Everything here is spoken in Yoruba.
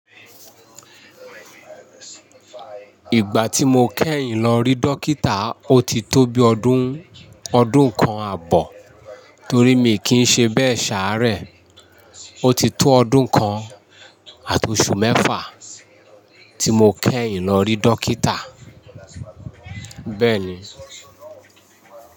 Ìgbà tí mo kẹ́yìn lọ rí dókítà otitó bí ọdún kan àbọ̀ torí mi kì í ṣe bẹ́ẹ̀ ṣàárẹ̀. Ó ti tó ọdún kan àti oṣù mẹ́fà tí mo kẹ́yìn lọ rí dókítà. Bẹ́ẹ̀ni.